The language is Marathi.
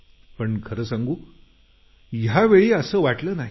पण खरं सांगू यावेळी असं वाटलं नाही